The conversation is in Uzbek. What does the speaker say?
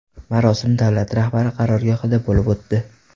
Marosim davlat rahbari qarorgohida bo‘lib o‘tdi.